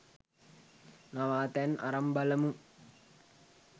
නවාතැන් අරන් බලමු